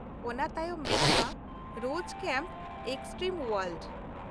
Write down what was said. ᱚᱱᱟ ᱛᱟᱭᱚᱢ ᱢᱮᱱᱟᱜᱼᱟ ᱨᱳᱡ ᱠᱮᱢᱯᱺ ᱮᱠᱥᱴᱨᱤᱢ ᱳᱣᱟᱨᱞᱰ ᱾